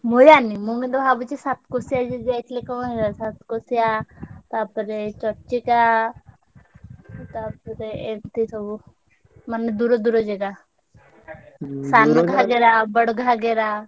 ମୁଁ ଜାଣିନି ମୁଁ କିନ୍ତୁ ଭାବୁଚି ସାତକୋଶିଆ ଯଦି ଯାଇଥିଲେ ସାତକୋଶିଆ ତାପରେ ଚର୍ଚିକା ତା ପରେ ସବୁ ମାନେ ଦୂର ଦୂର ଜାଗା। ସାନଘାଗରା, ବଡଘାଗରା।